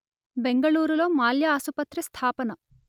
బెంగళూరులో మాల్య ఆసుపత్రి స్థాపన